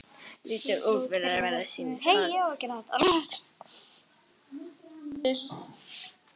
Lítur út fyrir að vera sýnishorn úr nýrri kvikmynd.